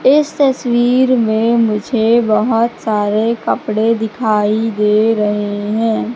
इस तस्वीर में मुझे बहोत सारे कपड़े दिखाई दे रहे हैं।